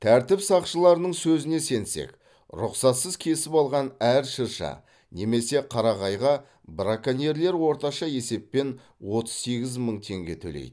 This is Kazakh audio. тәртіп сақшыларының сөзіне сенсек рұқсатсыз кесіп алған әр шырша немесе қарағайға броконьерлер орташа есеппен отыз сегіз мың теңге төлейді